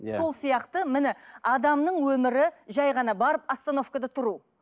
иә сол сияқты міне адамның өмірі жай ғана барып остановкада тұру